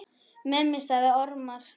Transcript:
Mummi sagði ormar.